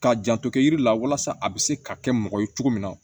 K'a janto kɛ yiri la walasa a bɛ se ka kɛ mɔgɔ ye cogo min na